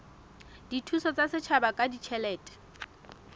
dithuso tsa setjhaba ka ditjhelete